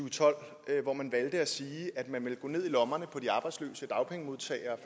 og tolv hvor man valgte at sige at man ville gå ned i lommerne på de arbejdsløse dagpengemodtagere